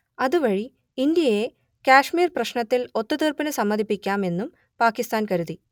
അതുവഴി ഇന്ത്യയെ കാശ്മീർ പ്രശ്നത്തിൽ ഒത്തുതീർപ്പിനു സമ്മതിപ്പിക്കാം എന്നും പാകിസ്താൻ കരുതി